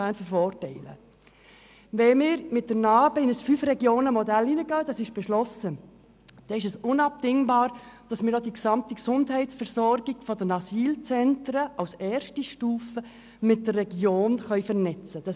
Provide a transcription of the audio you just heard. Wenn wir mit dem Projekt «Neustrukturierung des Asylbereichs im Kanton Bern (NA-BE)» ein Fünf-Regionen-Modell anwenden, was bereits beschlossen ist, dann ist es unabdingbar, dass wir auch die gesamte Gesundheitsversorgung der Asylzentren als erste Stufe mit den Regionen vernetzen können.